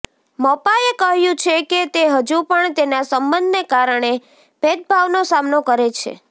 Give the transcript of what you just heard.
મપાએ કહ્યું છે કે તે હજુ પણ તેના સંબંધને કારણે ભેદભાવનો સામનો કરે છે